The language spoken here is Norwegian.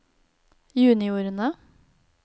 juniorene